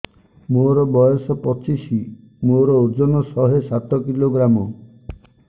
ମୋର ବୟସ ପଚିଶି ମୋର ଓଜନ ଶହେ ସାତ କିଲୋଗ୍ରାମ